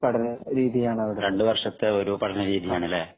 രണ്ടു വർഷത്തെ പഠന രീതിയാണ് അവിടെ